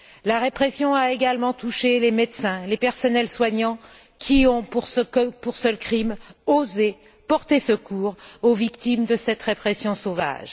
La répression a également touché les médecins, les personnels soignants, qui ont, pour seul crime, osé porter secours aux victimes de cette répression sauvage.